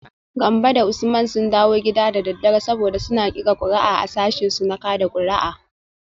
Gambo da Usman sun dawo gida da daddare, saboda suna kirga kuri’u a sashinsu na kada kuri’a